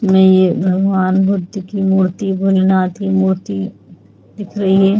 मे ये भगवान बुद्ध की मूर्ती भोलेनाथ की मूर्ती दिख रही है।